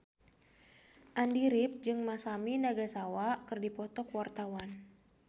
Andy rif jeung Masami Nagasawa keur dipoto ku wartawan